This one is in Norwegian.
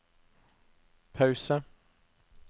pause